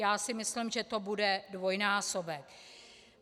Já si myslím, že to bude dvojnásobek.